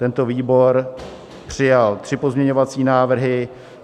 Tento výbor přijal tři pozměňovací návrhy.